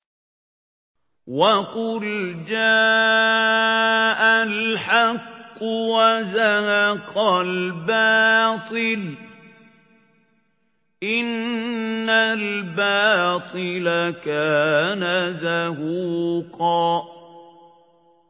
وَقُلْ جَاءَ الْحَقُّ وَزَهَقَ الْبَاطِلُ ۚ إِنَّ الْبَاطِلَ كَانَ زَهُوقًا